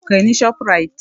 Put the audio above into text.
Kai ni Shoprite!